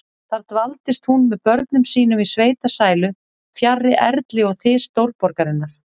Þar dvaldist hún með börnum sínum í sveitasælu, fjarri erli og þys stórborgarinnar.